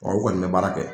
Ɔ u kɔni bɛ baara kɛ